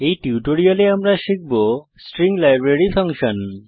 এই টিউটোরিয়ালে আমরা শিখব স্ট্রিং লাইব্রেরী ফাংশন